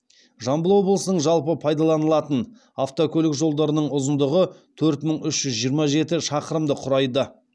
жамбыл облысының жалпы пайдаланылатын автокөлік жолдарының ұзындығы төрт мың үш жүз жиырма жеті шақырымды құрайды